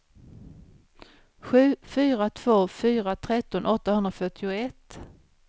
sju fyra två fyra tretton åttahundrafyrtioett